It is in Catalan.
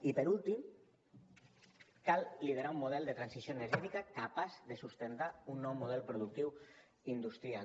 i per últim cal liderar un model de transició energètica capaç de sustentar un nou model productiu industrial